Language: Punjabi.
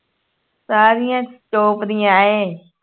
ਸਾਰੀਆਂ top ਦੀਆਂ ਏਂ